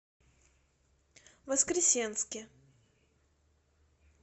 воскресенске